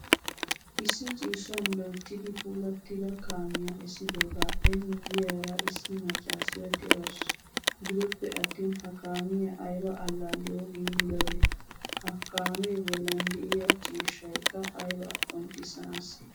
Issi ciishshan loyttidi puulattida kaamiyaa essidogappe miyiyara issi maccasiya deawusu. Gidoppe attin ha kaamiyaa ayba allalaliyawu giigidabe? Ha kaame bollan deiya ciishshaykka ayba qonccisanase?